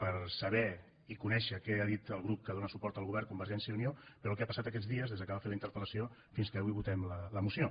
per saber i conèixer què ha dit el grup que dóna suport al govern convergència i unió però el que ha passat aquests dies des que vam fer la interpellació fins que avui votem la moció